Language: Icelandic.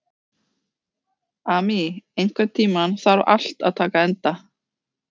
Amy, einhvern tímann þarf allt að taka enda.